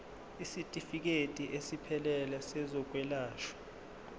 isitifikedi esiphelele sezokwelashwa